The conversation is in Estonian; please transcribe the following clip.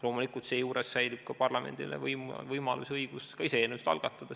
Loomulikult, seejuures säilib ka parlamendil võimalus ja õigus ise eelnõusid algatada.